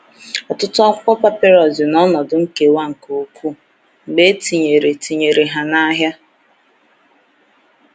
Ọtụtụ akwụkwọ papịrụs dị n’ọnọdụ nkewa nke ukwuu mgbe e tinyere tinyere ha n’ahịa.